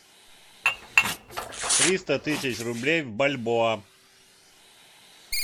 триста тысяч рублей в бальбоа